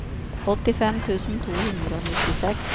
åttifem tusen to hundre og nittiseks